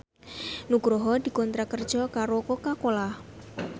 Nugroho dikontrak kerja karo Coca Cola